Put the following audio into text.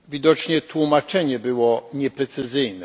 Widocznie tłumaczenie było nieprecyzyjne.